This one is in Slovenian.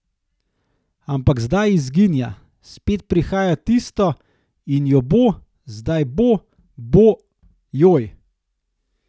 Ampak zdaj izginja, spet prihaja tisto in jo bo, zdaj bo, bo, joj ...